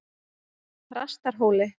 Þrastarhóli